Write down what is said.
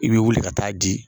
I b'i wili ka taa di.